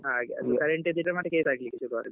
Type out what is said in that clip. ಹಾಗೆ current ದ್ದು ಅಂದ್ರೆ ಮತ್ತೆ case ಹಾಕ್ಲಿಕ್ಕೆ ಸುರುವಾದ್ರೆ.